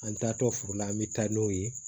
An taatɔ furu la an bɛ taa n'o ye